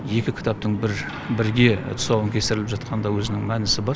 екі кітаптың бірге тұсауын кестіріліп жатқанында өзінің мәнісі бар